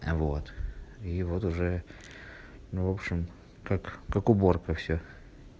вот и вот уже ну в общем как как уборка всё